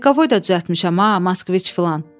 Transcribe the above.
Lekavoy da düzəltmişəm, ha, Moskviç filan.